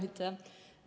Aitäh!